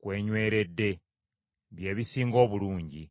kw’enyweredde, bye bisinga obulungi.